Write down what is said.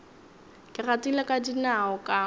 ke gatile ka dinao ka